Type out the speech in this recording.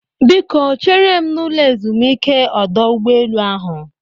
Biko chere m n'ụlọ ezumike ọdọ ụgbọelu ahụ